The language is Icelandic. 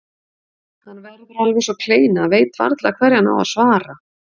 Hann verður alveg eins og kleina, veit varla hverju hann á að svara.